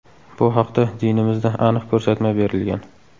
Bu haqda dinimizda aniq ko‘rsatma berilgan.